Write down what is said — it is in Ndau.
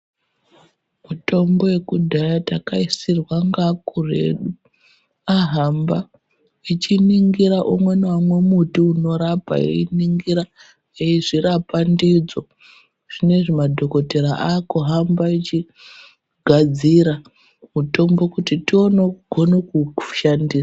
Mitombo yekudhaya takaisiirwa ngaakuru edu ahamba echiningira umwe neumwe muti unorapa einingira eizvirapa ndidzo zvinezvi madhokodhera akuhamba achigadzira mutombo kuti tioneo kugone kuushandisa.